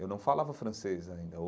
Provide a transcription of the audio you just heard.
Eu não falava francês ainda.